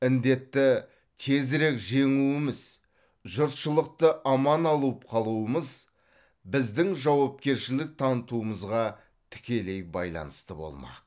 індетті тезірек жеңуіміз жұртшылықты аман алып қалуымыз біздің жауапкершілік танытуымызға тікелей байланысты болмақ